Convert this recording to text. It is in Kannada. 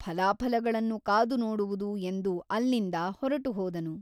ಫಲಾಫಲಗಳನ್ನು ಕಾದು ನೋಡುವುದು ಎಂದು ಅಲ್ಲಿಂದ ಹೊರಟುಹೋದನು.